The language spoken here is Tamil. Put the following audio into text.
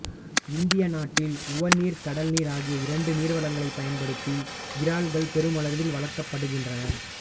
இந்திய நாட்டில் உவர்நீர் கடல்நீர் ஆகிய இரண்டு நீர்வளங்களைப் பயன்படுத்தி இறால்கள் பெருமளவில் வளர்க்கப்படுகின்றன